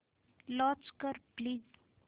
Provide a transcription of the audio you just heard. launch कर please